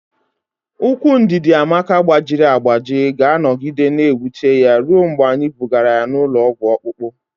Ụkwụ Ndidiamaka gbajiri agbaji ga-anọgide na-ewute ya ruo mgbe anyị bugara ya ụlọ ọgwụ ọkpụkpụ.